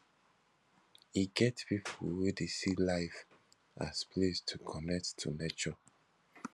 e get pipo wey dey see life as place to connect to nature